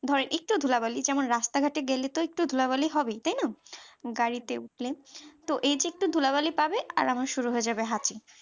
ধরেন একটু ধুলাবালি যেমন রাস্তা ঘাটে গেলে তো একটু ধুলাবালি হবেই তাই না গাড়িতে উঠলে তো এই যে একটু ধুলাবালি পাবে আর আমার শুরু হয়ে যাবে হাঁচি